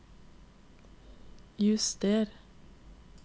juster